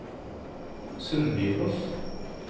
Sundbyfoss